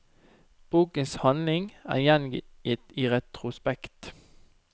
Bokens handling er gjengitt i retrospekt.